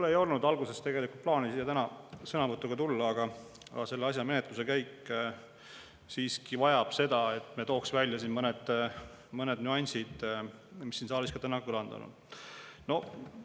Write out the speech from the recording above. Mul ei olnud alguses plaanis täna siia sõnavõtuga tulla, aga selle asja menetluse käik siiski vajab seda, et me tooksime välja siin mõned nüansid, mis siin saalis ka täna kõlanud on.